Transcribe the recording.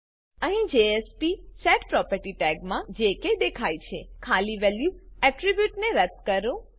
અહીં jspsetProperty ટેગમાં જે કે દેખાય છે ખાલી વેલ્યુ એટ્રીબ્યુટને રદ્દ કરો